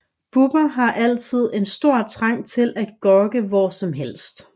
Bubber har altid en stor trang til at gokke hvor som helst